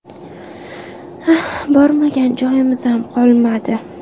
Bormagan joyimiz ham qolmadi.